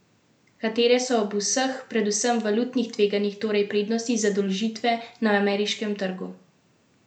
Katere so ob vseh, predvsem valutnih tveganjih torej prednosti zadolžitve na ameriškem trgu?